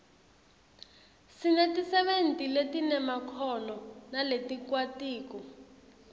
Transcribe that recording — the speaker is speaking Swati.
sinetisebenti letinemakhono naletikwatiko